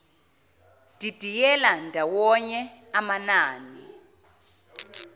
didiyela ndawonye amanani